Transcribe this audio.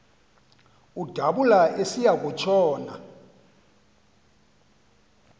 udabula esiya kutshona